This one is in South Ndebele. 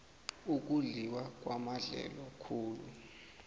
ukudliwa kwamadlelo khulu